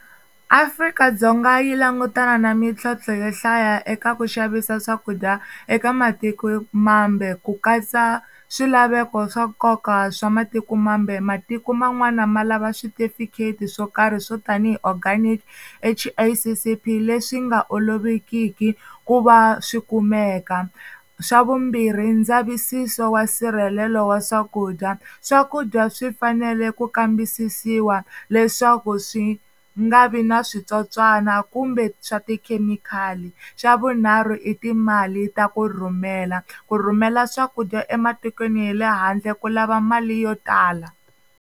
Afrika-Dzonga yi langutana na mintlhontlho yo hlaya eka ku xavisa swakudya eka matiko mambe ku katsa swilaveko swa nkoka swa matiko mambe matiko man'wana ma lava switifiketi swo karhi swo tanihi organic H_I_C_C_P leswi nga olovekiki ku va swi kumeka, swa vumbirhi ndzavisiso wa nsirhelelo wa swakudya swakudya swi fanele ku kambisisiwa leswaku swi nga vi na switsotswana kumbe swa tikhemikhali, xa vunharhu i timali ta ku rhumela ku rhumela swakudya ematikweni hi le handle ku lava mali yo tala.